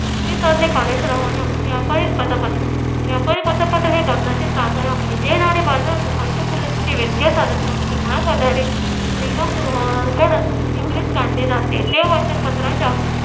ती साधने खालीलप्रमाणे आहेत. व्यापारी पतपत्र व्यापारी पतपत्र हे कर्जाचे साधन आहे. जे नाणे बाजारात अल्पमुदतीचे वित्तीय साधनसंपत्ती गोळा करण्यासाठी निगम विक्रीस काढली जाते ते वचन पत्राच्या